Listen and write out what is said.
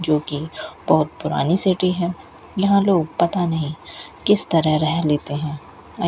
जो कि बहुत पुरानी सिटी है यहां लोग पता नहीं किस तरह रह लेते हैं।